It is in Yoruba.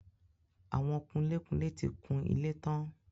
Àwọn kunlé-kunlé ti kun ilé tán.